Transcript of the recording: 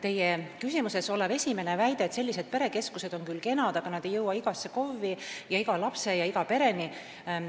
Teie küsimuse esimene pool oli selle kohta, et perekeskused on küll kenad, aga nad ei jõua igasse KOV-i, iga lapse ja iga pereni.